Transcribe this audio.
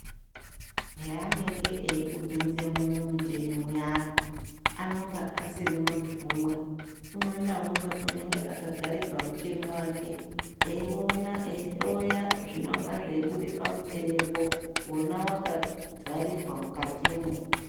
Heanenge eikupinzemwo mumuchini muyani, anonga asiri muntu umwe. Umwe naumwe anonga akagare pamuchini wake. Eiona eihloya zvinonga zveibuda pamuchinipo, ona wakavharirwa mukatomwo.